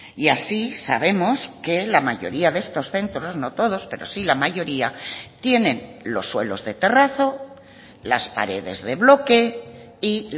y así sabemos que la mayoría de estos centros no todos pero sí la mayoría tienen los suelos de terrazo las paredes de bloque y